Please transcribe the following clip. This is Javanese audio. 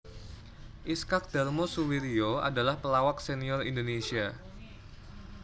Iskak Darmo Suwiryo adalah pelawak senior indonesia